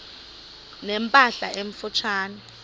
ne mpahla emfutshane